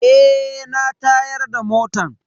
Eh na tayar da motan.